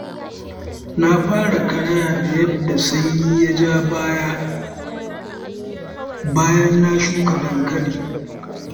Na fara karaya da yadda sanyi ya ja baya, bayan na shuka dankali.